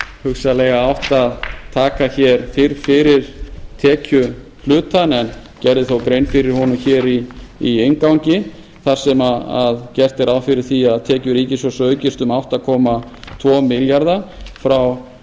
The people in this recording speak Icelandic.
hugsanlega átt að taka fyrr fyrir tekjuhlutann en gerði þó grein fyrir honum í inngangi þar sem gert er ráð fyrir því að tekjur ríkissjóðs aukist um átta komma tvo milljarða frá